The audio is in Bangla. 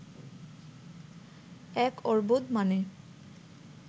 এক অর্বুদ মানে